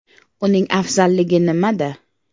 Uning afzalligi nimada?.